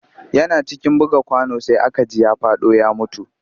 Yana cikin buga kwano sai aka ji ya faɗo ya mutu